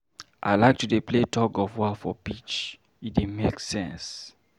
I like to dey play tug-of-war for beach, e dey make sense.